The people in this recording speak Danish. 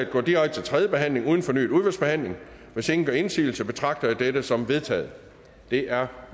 går direkte til tredje behandling uden fornyet udvalgsbehandling hvis ingen gør indsigelse betragter jeg dette som vedtaget det er